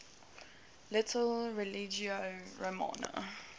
title religio romana